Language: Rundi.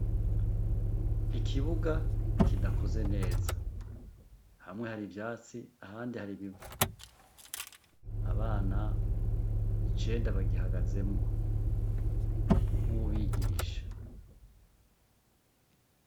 Ikibuga kidakoze neza hamwe hari vyatsi ahandi hari bivu abana icenda bagihagazemwo n'uwubigisha.